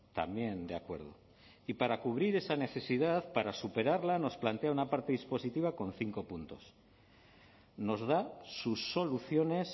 también de acuerdo y para cubrir esa necesidad para superarla nos plantea una parte dispositiva con cinco puntos nos da sus soluciones